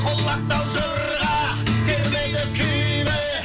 құлақ сал жырға термеге күйге